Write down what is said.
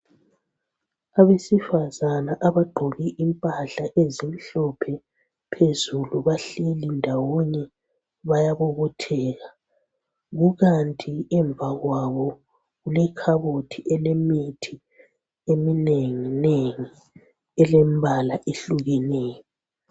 Abesifazana abagqoke impahla ezimhlophe phezulu bahleli ndawonye bayabobotheka. Kukanti emva kwabo kulekhabothi elemithi eminenginengi elembala ehlukeneyo.